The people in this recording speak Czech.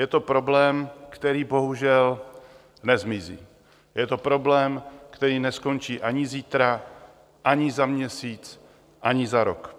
Je to problém, který bohužel nezmizí, je to problém, který neskončí ani zítra, ani za měsíc, ani za rok.